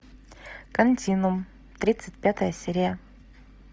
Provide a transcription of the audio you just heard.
континуум тридцать пятая серия